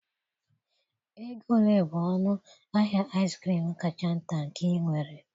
Ego ole bụ ọnụ ahịa ice cream kacha nta nke ị nwere?